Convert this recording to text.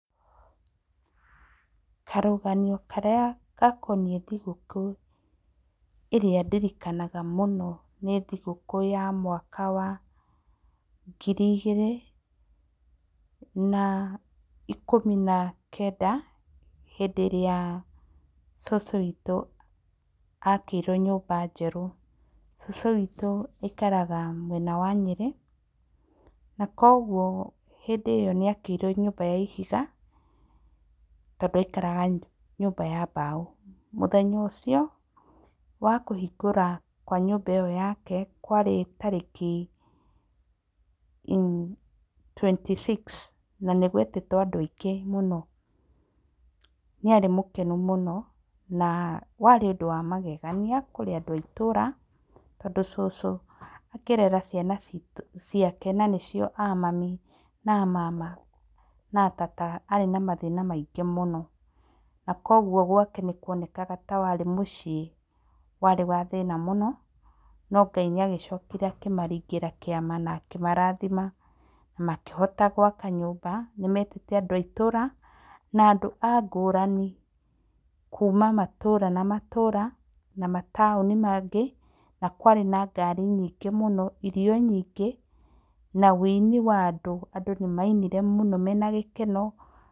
Karuganyo karĩa gakonie thigũkũ, ĩrĩa ndirikanaga mũno, nĩ thigũkũ ya mwaka wa, ngiri igĩrĩ na ikumi na kenda, hĩndĩ ĩrĩa cucu witũ akĩrwo nyũmba njerũ, cũcũ witũ aikaraga mwena wa Nyĩrĩ, na kwoguo hĩndĩ ĩyo nĩ akĩirwo nyũmba ya ihiga, tondũ aikaraga nyũmba ya mbaũ, mũthenya ũcio wa kũhingũra kwa nyũmba ĩyo yake, kwarĩ tarĩki i twenty six na nĩ gwetĩtwo andũ aingĩ mũno, nĩ arĩ mũkenu mũno, na warĩ ũndũ wa magegania kũrĩ andũ aitũra, tondũ cũcũ akĩrera ciana citũ, ciake na nĩcio a mami, na mama, na tata, arĩ na mathĩna maingĩ mũno, na kwoguo gwake nĩ kuonekaga ta warĩ mũciĩ warĩ wa thĩna mũno, no Ngai nĩ agĩcokire akĩmaringĩra kĩama, na akĩmarathima, na makĩhota gwaka nyũmba, nĩ metĩte andũ a itũra na andũ angũrani, kuuma matũra na matũra, na mataoni mangĩ, na kwarĩ na ngari nyingĩ mũno, irio nyingĩ, na wĩini wa andũ, andũ nĩ mainire mũno mena gĩkeno.